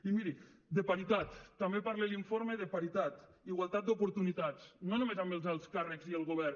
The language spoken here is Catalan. i miri de paritat també parla l’informe de paritat igualtat d’oportunitats no només amb els alts càrrecs i el govern